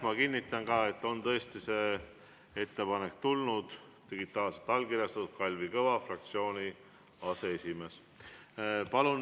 Ma kinnitan, et on tõesti see ettepanek tulnud, digitaalselt allkirjastanud Kalvi Kõva, fraktsiooni aseesimees.